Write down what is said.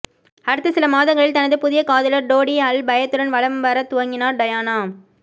அடுத்த சில மாதங்களில் தனது புதிய காதலர் டோடி அல் பயதுடன் வலம் வரத் துவங்கினார் டயானா